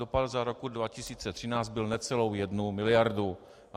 Dopad za rok 2013 byl necelou jednu miliardu.